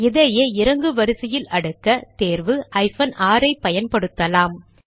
இதையே இறங்கு வரிசையில் அடுக்க தேர்வு ஹைபன் ஆர் ஐ பயன்படுத்தலாம்